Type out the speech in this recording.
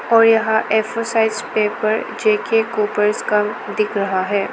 और यहा four size paper JK copier कम दिख रहा है।